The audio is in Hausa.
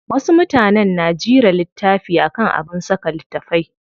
Wasu mutanen na jira littafi akan abin saka littafai.